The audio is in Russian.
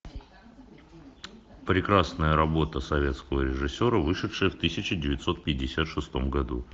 прекрасная работа советского режиссера вышедшая в тысяча девятьсот пятьдесят шестом году